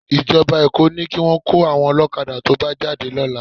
Ìjọba Èkó ní kí wọn kó àwọn ọlọ́kadà tó bá jáde lọ́la